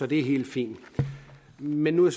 det er helt fint men nu er